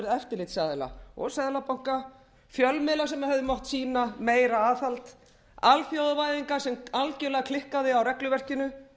eftirlitsaðila og seðlabanka fjölmiðla sem hefðu mátt sýna meira aðhald alþjóðavæðingar sem algjörlega klikkaði á regluverkinu